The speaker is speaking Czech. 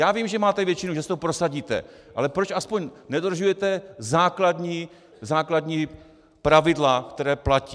Já vím, že máte většinu, že si to prosadíte, ale proč aspoň nedodržujete základní pravidla, která platí?